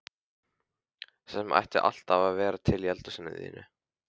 Það sem ætti alltaf að vera til í eldhúsinu þínu!